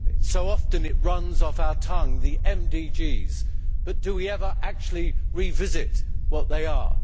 So often the word runs off our tongue the MDGs' but do we ever actually revisit what they are?